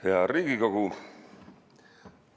Hea Riigikogu!